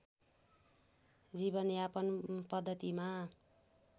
जीवनयापन पद्धतिमा